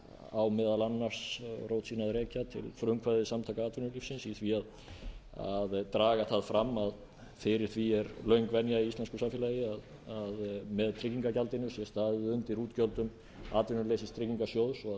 á meðal annars rót sína að rekja til frumkvæðis samtaka atvinnulífsins í því að draga það fram að fyrir því er löng venja í íslensku samfélagi að með tryggingagjaldinu sé staðið undir útgjöldum atvinnuleysistryggingasjóðs og að